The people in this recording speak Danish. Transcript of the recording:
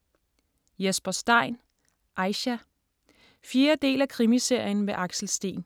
Stein, Jesper: Aisha 4. del af Krimiserien med Axel Steen.